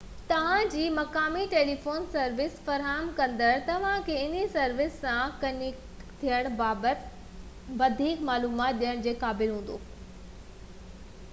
توهان جي مقامي ٽيليفون سروس فراهم ڪندڙ توهانکي انهي سروس سان ڪنيڪٽ ٿيڻ بابت وڌيڪ معلومات ڏيڻ جي قابل هوندو